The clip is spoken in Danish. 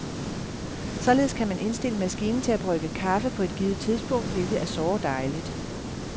Således kan man indstille maskinen til at brygge kaffe på et givet tidspunkt, hvilket er såre dejligt.